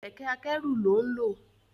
Kẹ̀kẹ́ akẹ́rù lón nlọ